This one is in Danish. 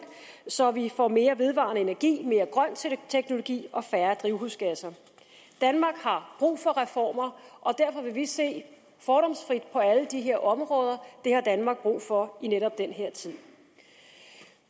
så vi får mere vedvarende energi mere grøn teknologi og færre drivhusgasser danmark har brug for reformer og derfor vil vi se fordomsfrit på alle de her områder det har danmark brug for i netop den her tid